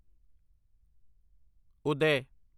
ਉਦੈ